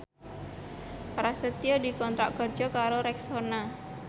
Prasetyo dikontrak kerja karo Rexona